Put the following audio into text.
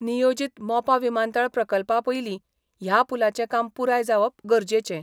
नियोजित मोपा विमानतळ प्रकल्पापयली ह्या पुलांचे काम पुराय जावप गरजेचें.